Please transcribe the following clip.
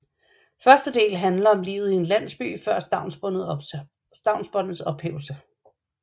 Første del handler om livet i en landsby før stavnsbåndets ophævelse